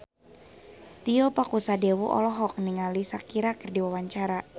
Tio Pakusadewo olohok ningali Shakira keur diwawancara